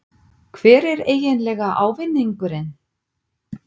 Hver er eiginlega ávinningurinn?